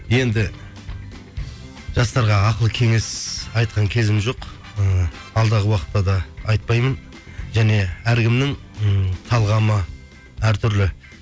енді жастарға ақыл кеңес айтқан кезім жоқ ыыы алдағы уақытта да айтпаймын және әркімнің ммм талғамы әртүрлі